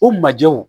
O majɛw